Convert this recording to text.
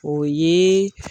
O yee